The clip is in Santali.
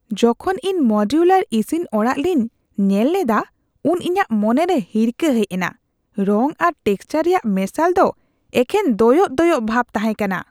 ᱡᱚᱠᱷᱚᱱ ᱤᱧ ᱢᱚᱰᱩᱞᱟᱨ ᱤᱥᱤᱱ ᱚᱲᱟᱜ ᱞᱤᱧ ᱧᱮᱞ ᱞᱮᱫᱟ ᱩᱱ ᱤᱧᱟᱹᱜ ᱢᱚᱱᱮᱨᱮ ᱦᱤᱨᱠᱟᱹ ᱦᱮᱡ ᱮᱱᱟ ᱾ ᱨᱚᱝ ᱟᱨ ᱴᱮᱠᱪᱟᱨ ᱨᱮᱭᱟᱜ ᱢᱮᱥᱟᱞ ᱫᱚ ᱮᱠᱷᱮᱱ ᱫᱚᱭᱚᱜ ᱫᱚᱭᱚᱜ ᱵᱷᱟᱵ ᱛᱟᱦᱮᱸ ᱠᱟᱱᱟ ᱾